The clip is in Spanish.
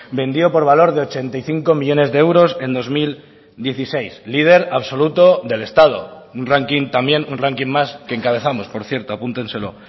vendió por valor de ochenta y cinco millónes de euros en dos mil dieciséis líder absoluto del estado un ranking también un ranking más que encabezamos por cierto apúntenselo